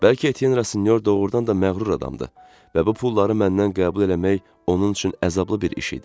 Bəlkə Etyenrasinyor doğrudan da məğrur adamdır və bu pulları məndən qəbul eləmək onun üçün əzablı bir iş idi.